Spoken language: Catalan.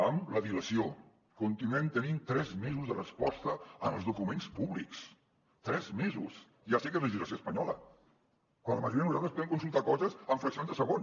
amb la dilació continuem tenint tres mesos de resposta en els documents públics tres mesos ja sé que és legislació espanyola quan la majoria de nosaltres podem consultar coses en fraccions de segon